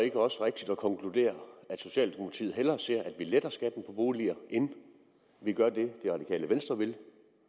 ikke også rigtigt at konkludere at socialdemokraterne hellere ser at vi letter skatten på boliger end at vi gør det det radikale venstre vil